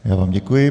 Já vám děkuji.